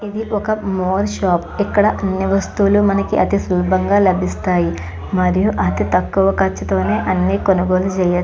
ఇదీ ఒక more shop . ఇక్కడ అన్ని వస్తువులు అతి సులభంగా లభిస్తాయి. మరియు అతి తక్కువ ఖర్చుతోనే అన్ని కనుగోలు చేయొచ్చు.